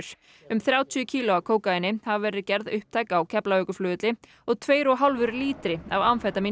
um þrjátíu kíló af kókaíni hafa verið gerð upptæk á Keflavíkurflugvelli og tveir og hálfur lítri af